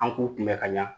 An k'u kunbɛn ka ɲa